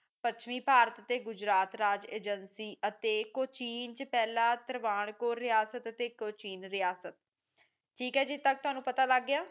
ਪੁਸ਼ਮੀ ਭਾਰਤ ਤੇ ਗੁਜਰਾਤ ਰਾਜ ਏਜੇਂਸੀ ਅਤੇ ਕੋਚੀਨ ਚ ਪਹਿਲਾਂ ਤਰਵਾਨ ਕੋਣ ਰਿਹਾਸਤ ਕੋਚੀਨ ਰਿਹਾਸਤ ਠੀਕ ਹੈ ਜੀ ਇਥੋਂ ਤਕ ਤਾਨੂੰ ਪਤਾ ਲੱਗ ਗਿਆ